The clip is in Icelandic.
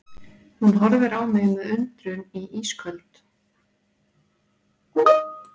Hún horfir á mig með undrun í ísköld